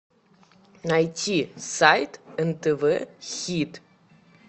найти сайт нтв хит